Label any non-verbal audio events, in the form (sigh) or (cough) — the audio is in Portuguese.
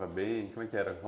(unintelligible) Como é que era?